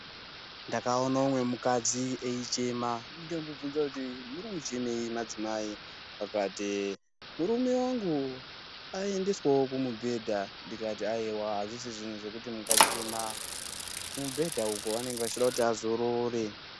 Ndakaone umwe mukadzi eichema ,ndomubvunza kuti, "Muri kuchemei madzimai?" akati ,"Murume wangu aendeswawo kumubhedha." Ndikati ,"Ayewa, azvisi zvinhu zvekuti mungachema .Kumubhedha uko vanonge vachida kuti azorore."